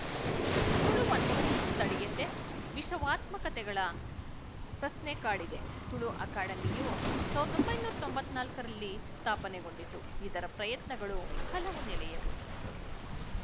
ತುಳುವನ್ನು ಸ್ಥಳೀಯತೆವಿಶವಾತ್ಮಕತೆಗಳ ಪ್ರಶ್ನೆ ಕಾಡಿದೆ ತುಳು ಅಕಾಡೆಮಿಯು ಸಾವಿರದ ಒಂಬೈನೂರ ತೊಂಬತ್ತ್ ನಾಲ್ಕರಲ್ಲಿ ಸ್ಥಾಪನೆಗೊಂಡಿತು ಇದರ ಪ್ರಯತ್ನಗಳು ಹಲವು ನೆಲೆಯವು